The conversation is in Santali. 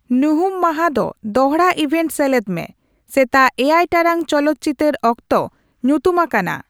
ᱧᱩᱦᱩᱢ ᱢᱟᱦᱟ ᱨᱮ ᱫᱚᱦᱲᱟ ᱤᱵᱷᱮᱱᱴ ᱥᱮᱞᱮᱫ ᱢᱮ ᱥᱮᱛᱟᱜ ᱮᱭᱟᱭ ᱴᱟᱲᱟᱝ ᱪᱚᱞᱚᱛ ᱪᱤᱛᱟᱹᱨ ᱚᱠᱛᱚ ᱧᱩᱛᱩᱢ ᱟᱠᱟᱱᱟ